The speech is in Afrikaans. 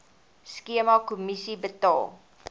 skema kommissie betaal